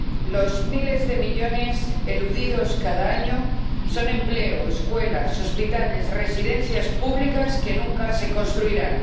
Los miles de millones eludidos cada año son empleo, escuelas, hospitales, residencias públicas que nunca se construirán.